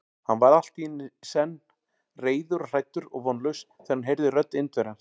Hann varð allt í senn reiður og hræddur og vonlaus, þegar hann heyrði rödd Indverjans.